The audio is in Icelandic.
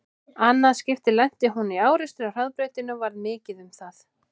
Annað skipti lenti hún í árekstri á hraðbrautinni og varð mikið um það.